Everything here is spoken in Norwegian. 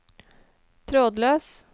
trådløs